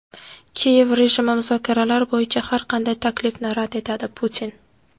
Kiyev rejimi muzokaralar bo‘yicha har qanday taklifni rad etadi – Putin.